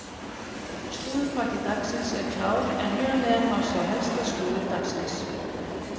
Slúðurpakki dagsins er klár en hér að neðan má sjá helsta slúður dagsins.